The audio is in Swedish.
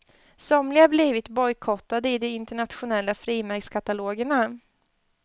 Somliga har blivit bojkottade i de internationella frimärkskatalogerna.